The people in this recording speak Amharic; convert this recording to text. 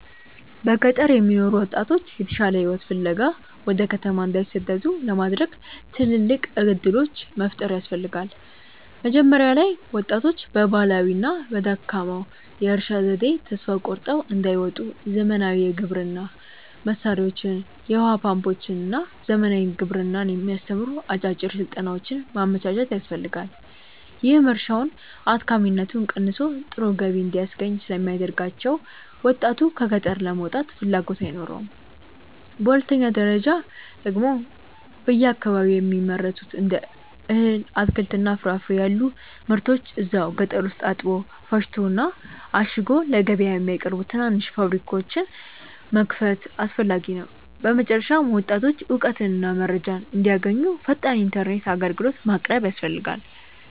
በገጠር የሚኖሩ ወጣቶች የተሻለ ሕይወት ፍለጋ ወደ ከተማ እንዳይሰደዱ ለማድረግ ትልልቅ ዕድሎች መፍጠር ያስፈልጋ። መጀመሪያ ላይ ወጣቶች በባህላዊውና በደካማው የእርሻ ዘዴ ተስፋ ቆርጠው እንዳይወጡ ዘመናዊ የግብርና መሣሪያዎችን፣ የውኃ ፓምፖችንና ዘመናዊ ግብርናን የሚያስተምሩ አጫጭር ሥልጠናዎችን ማመቻቸት ያስፈልጋል፤ ይህም እርሻውን አድካሚነቱ ቀንሶ ጥሩ ገቢ እንዲያስገኝ ስለሚያደርጋቸው ወጣቱ ከገጠር ለመውጣት ፍላጎት አይኖረውም። በሁለተኛ ደረጃ ደግሞ በየአካባቢው የሚመረቱትን እንደ እህል፣ አትክልትና ፍራፍሬ ያሉ ምርቶችን እዛው ገጠር ውስጥ አጥቦ፣ ፈጭቶና አሽጎ ለገበያ የሚያቀርቡ ትናንሽ ፋብሪካዎችን መክፈት አስፈላጊ ነው። በመጨረሻም ወጣቶች እውቀትና መረጃ እንዲያገኙ ፈጣን ኢተርኔት አግልግሎት ማቅረብ ያስፈልጋል